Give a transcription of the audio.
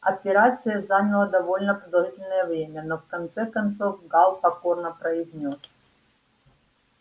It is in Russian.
операция заняла довольно продолжительное время но в конце концов гаал покорно произнёс